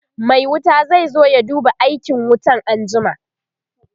Mai wuta zai zo ya duba aikin wutan anjima